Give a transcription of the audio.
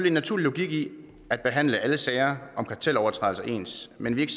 en naturlig logik i at behandle alle sager om kartelovertrædelser ens men vi er